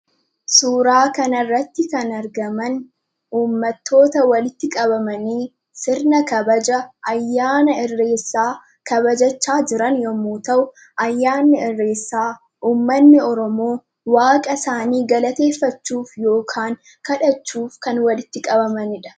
Suuraa kana irratti kan argaman uummatoota walitti qabamanii sirna kabaja ayyaana Irreechaa kabajachaa jiran yemmuu ta'u, ayyaanni Irreechaa uummanni Oromoo waaqa isaanii galateeffachuuf yookaan kadhachuuf kan walitti qabamanidha.